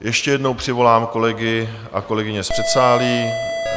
Ještě jednou přivolám kolegy a kolegyně z předsálí.